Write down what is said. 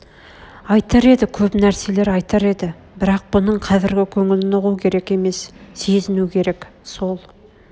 айтар еді көп нәрселер айтар еді бірақ бұның қазргі көңілін ұғу керек емес сезіну керек сол